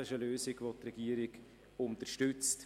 Das ist eine Lösung, die die Regierung unterstützt.